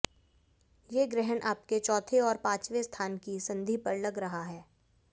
ये ग्रहण आपके चौथे और पाचवें स्थान की संधि पर लग रहा है